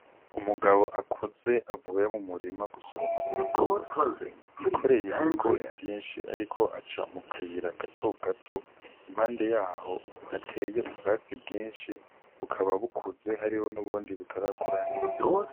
Umugabo akuze avuye mu murima gusoroma ibigori yikoreye ibigori vyinshi, ariko aca mu kayira gato gato impande yaho ateye ubwatsi bwinshi bukaba bukuze hariho n'ubundi butarakura neza.